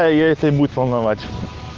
если будет волновать